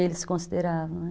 Eles se consideravam, né?